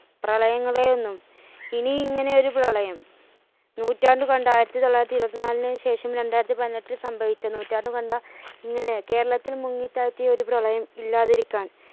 പ്രളയങ്ങളെയൊന്നും ഇനി ഇങ്ങനെയൊരു പ്രളയം നൂറ്റാണ്ടുകണ്ട ആയിരത്തിത്തൊള്ളായിരത്തി ഇരുപത്തിനാലിന് ശേഷം രണ്ടായിരത്തിപതിനെട്ടിൽ സംഭവിച്ച നൂറ്റാണ്ടുകണ്ട ഇങ്ങനെ കേരളത്തിൽ മുങ്ങി താഴ്തിയൊരു പ്രളയം ഇല്ലാതിരിക്കാൻ